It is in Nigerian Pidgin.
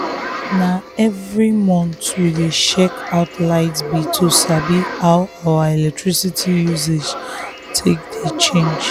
na every month we dey check out light bill to sabi how our electricity usage take dey change.